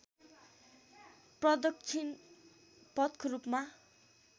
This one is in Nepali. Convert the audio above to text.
प्रदक्षिण पथको रूपमा